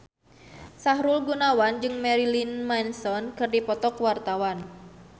Sahrul Gunawan jeung Marilyn Manson keur dipoto ku wartawan